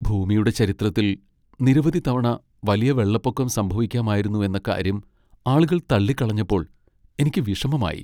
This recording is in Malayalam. ഭൂമിയുടെ ചരിത്രത്തിൽ നിരവധി തവണ വലിയ വെള്ളപ്പൊക്കം സംഭവിക്കാമായിരുന്നു എന്ന കാര്യം ആളുകൾ തള്ളിക്കളഞ്ഞപ്പോൾ എനിക്ക് വിഷമമായി.